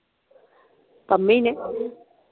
ਪੰਮੇ ਨੇ?